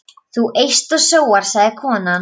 Þú eyst og sóar, sagði konan.